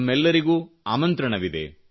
ತಮ್ಮೆಲ್ಲರಿಗೂ ಆಮಂತ್ರಣವಿದೆ